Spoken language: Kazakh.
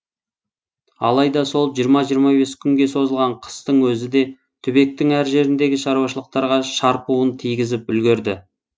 алайда сол жиырма жиырма бес күнге созылған қыстың өзі де түбектің әр жеріндегі шаруашылықтарға шарпуын тигізіп үлгерді